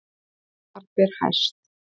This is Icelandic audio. Þar ber hæst